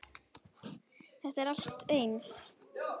Þetta er allt eins!